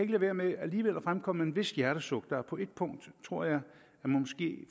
lade være med at fremkomme vist hjertesuk på ét punkt tror jeg måske